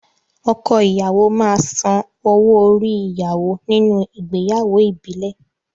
Ọkọ ìyàwó máa san owo-orí ìyàwó nínú ìgbéyàwó ìbílẹ̀.